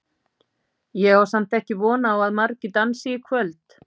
Ég á samt ekki von á að margir dansi í kvöld.